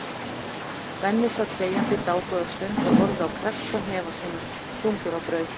Benni sat þegjandi dágóða stund og horfði á kreppta hnefa sína, þungur á brún.